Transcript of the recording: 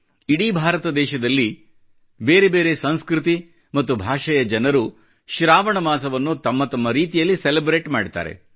ಇಡೀ ಭಾರತ ದೇಶದಲ್ಲಿ ಬೇರೆ ಬೇರೆ ಸಂಸ್ಕೃತಿ ಮತ್ತು ಭಾಷೆಯ ಜನರು ಶ್ರಾವಣ ಮಾಸವನ್ನು ತಮ್ಮ ತಮ್ಮ ರೀತಿಯಲ್ಲಿ ಸೆಲೆಬ್ರೇಟ್ ಮಾಡುತ್ತಾರೆ